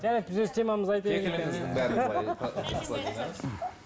жарайды біз өз темамызды